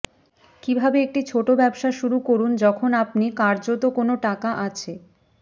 কিভাবে একটি ছোট ব্যবসা শুরু করুন যখন আপনি কার্যত কোন টাকা আছে